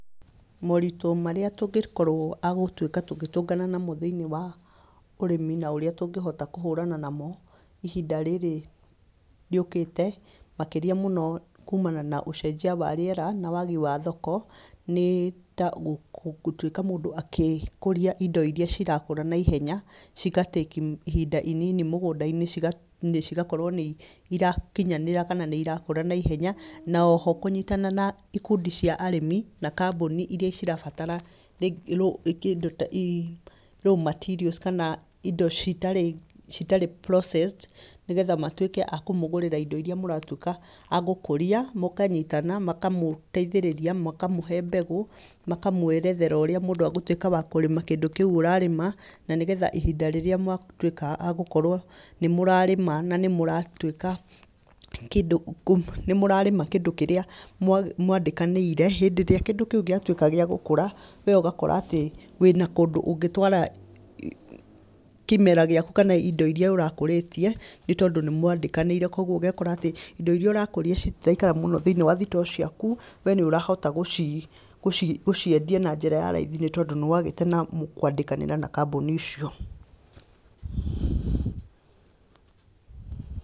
Moritũ marĩa tũngĩkorwo agũtuĩka tũgĩtũngana namo thĩinĩ wa ũrĩmi na ũrĩa tũngĩhota kũhũrana namo ihinda rĩrĩ rĩũkĩte, makĩria mũno kumana na ũcenjia wa rĩera, na wagi wa thoko, nĩ ta gũtuĩka mũndũ agĩkũria indo iria cirakũra naihenya, cigatĩki ihinda inini mũgũnda-inĩ cigakorwo nĩirakinyanĩra kana nĩirakũra naihenya, na oho kũnyitana na ikundio cia arĩmi, na kambuni iria cirabatara raw materials kana indo citarĩ processed nĩgetha matuĩke akũmũgũrĩra indo iria mũratuĩka agũkũria, mũkanyitana, makamũtaithĩrĩria, makamũhe mbegũ, makamwerethera ũrĩa mũndũ egũtuĩka wakũrĩma kĩndũ kĩu ũrarĩma, na nĩgetha ihinda rĩrĩa mwatuĩka agũkorwo nĩmũrarĩma nanĩmũratuĩka, nĩmũrarĩma kĩndũ kĩrĩa mwandĩkanĩire, hĩndĩ ĩrĩa kĩndũ kĩu gĩatuĩka gĩagũkũra, wee ũgakora atĩ wĩna kũndũ ũngĩtwara kĩmera gĩaku kana indo iria ũrakũrĩtie, nĩtondũ nĩmwandĩkanĩire koguo ũgekora atĩ indo iria ũrakũria citiraikara mũno thĩinĩ wa thitoo ciaku, wee nĩũrahota gũciendia na njĩra ya raithi tondũ nĩwagĩte na njĩra ya kwandĩkanĩra na kambuni icio.